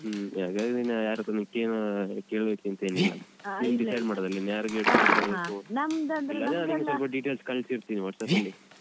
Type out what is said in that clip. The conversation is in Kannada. ಹ್ಮ ಹಾಗಾದ್ರೆ ನೀನು ಯಾರತ್ರಾನೂ ಕೇಳೋ ಕೇಳ್ಬೇಕಂತ ಏನಿಲ್ಲಲ್ಲ details ಕಳಿಸಿರ್ತೀನಿ WhatsApp ಅಲ್ಲಿ.